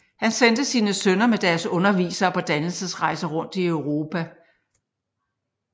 Han sendte sine sønner med deres undervisere på dannelsesrejser rundt i Europa